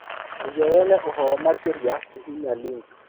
Nĩguo wone ũhoro makĩria, hihinya link.